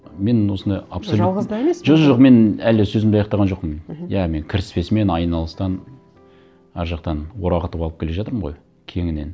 мен осындай абсолют жалғыз да емес жо жо жоқ мен әлі сөзімді аяқтаған жоқпын мхм иә мен кіріспесімен айналыстан ар жақтан орағатып алып келе жатырмын ғой кеңінен